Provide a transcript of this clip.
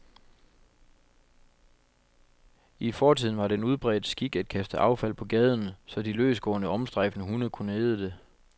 I fortiden var det en udbredt skik at kaste affald på gaden, så de løsgående, omstrejfende hunde kunne æde det.